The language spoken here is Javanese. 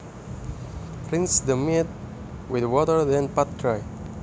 Rinse the meat with water then pat dry